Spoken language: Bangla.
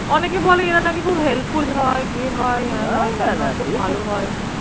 অনেকে বলে এরা নাকি খুব helpful হয়, ইয়ে হয় হেনতেন খুব ভালো হয়।